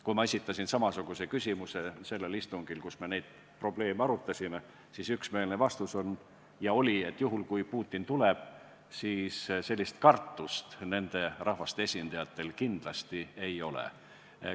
Kui ma esitasin samasuguse küsimuse istungil, kus me neid probleeme arutasime, sain üksmeelse vastuse, et juhul, kui Putin tuleb, siis sellist kartust nende rahvaste esindajatel kindlasti ei ole.